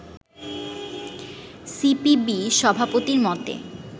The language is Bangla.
সিপিবি সভাপতির মতে